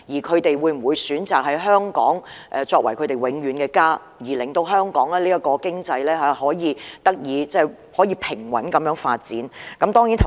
他們會否選擇香港作為他們永遠的家，令香港的經濟得以平穩地發展？